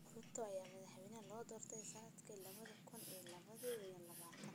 Ruto ayaa madaxweyne loo doortay sannadkii laba kun iyo laba iyo labaatan.